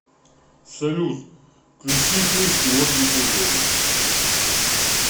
салют включи песню ольги бузовой